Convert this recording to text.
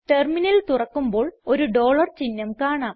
terminal തുറക്കുമ്പോൾ ഒരു dollar ചിഹ്നം കാണാം